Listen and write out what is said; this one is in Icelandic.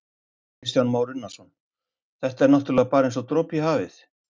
Kristján Már Unnarsson: Þetta er náttúrulega bara eins og dropi í hafið?